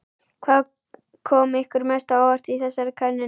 Hvað kom ykkur mest á óvart í þessari könnun?